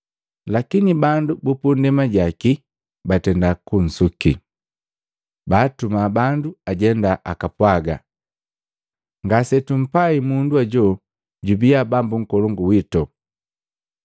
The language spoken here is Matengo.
Lakini bandu bu pundema jaki batenda kunsuki, baatuma bandu ajenda akapwaga, ‘Ngasetumpai mundu hoju jubia bambu nkolongu wito.’